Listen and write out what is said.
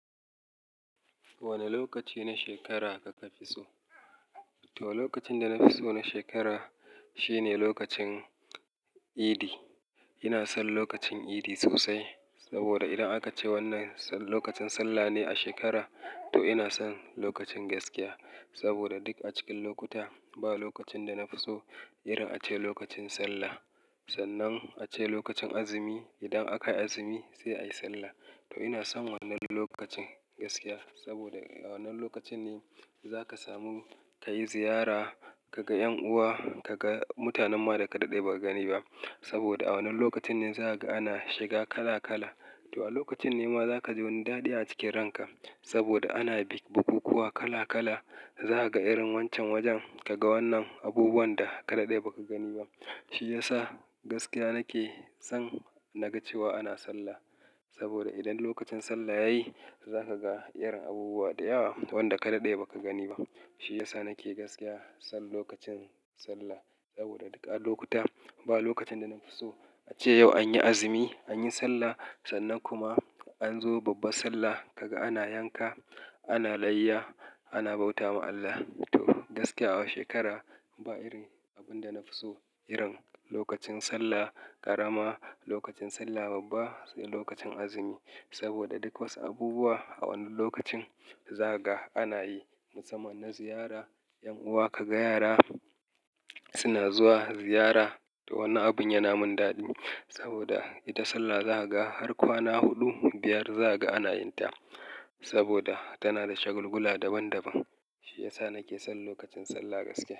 Wane lokaci na shekara kaka fi so? To, lokacin da na fi so na shekara shine lokacin Idi. Ina son lokacin Idi sosai saboda idan aka ce wannan lokacin Sallah ne a shekara, to ina son lokacin gaskiya saboda duk a cikin lokuta, ba lokacin da na fi so irin ace lokacin Sallah. Sannan ace lokacin azumi, idan aka yi azumi sai ayi Sallah. To ina son wannan lokacin gaskiya saboda wannan lokacin ne za ka samu ka yi ziyara, ka ga 'yan uwa, ka ga mutanen ma da ka dade ba ka gani ba. Saboda a wannan lokacin ne za ka ga ana shiga kala kala. To a lokacin ne ma za ka ji wani dadi a cikin ranka saboda ana bik bukukuwa kala kala. Za ka ga irin wancan wajen, ka ga wannan abubuwan da ka dade ba ka gani ba. Shi ya sa gaskiya nake son na ga cewa ana Sallah. Saboda idan lokacin Sallah yayi, za ka ga irin abubuwa da yawa wanda ka dade ba ka gani ba. Shi ya sa nake gaskiya son lokacin Sallah saboda duk a lokuta, ba lokacin da na fi so ace yau an yi azumi, an yi Sallah, sannan kuma an zo babban Sallah ka ga ana yanka, ana layya, ana bauta wa Allah. To, gaskiya a shekara ba iri abin da na fi so irin lokacin Sallah ƙarama, lokacin Sallah babba sai lokacin azumi. Saboda duk wasu abubuwa a wannan lokacin za ka ga ana yi musamman na ziyara 'yan uwa, ka ga yara suna zuwa ziyara. To wannan abun yana min dadi saboda ita Sallah za ka ga har kwana huɗu, biyar za ka ga ana yin ta saboda tana da shagulgula daban daban. Shi ya sa nake son lokacin Sallah gaskiya.